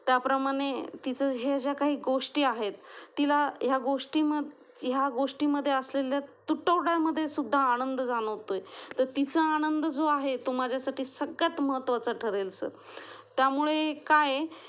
त्या प्रमाणे तिच्या ह्या ज्या काही गोष्टी आहेत तिला ह्या गोष्टी, ह्या गोष्टी मध्ये असलेल्या तुटवडा मध्ये सुद्धा आनंद जाणवतोय तर तिचा आनंद जो आहे तो माझ्यासाठी सगळ्यात महत्त्वाचा ठरेल सर त्यामुळे काये